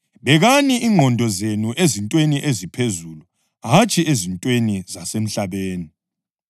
Bekani ingqondo zenu ezintweni eziphezulu hatshi ezintweni zasemhlabeni.